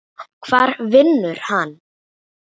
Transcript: Hvar vinnur hann?